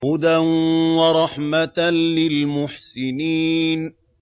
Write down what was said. هُدًى وَرَحْمَةً لِّلْمُحْسِنِينَ